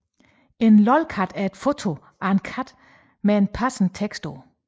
En lolcat er et foto af en kat med en passende tekst på